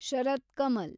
Sharath Kamal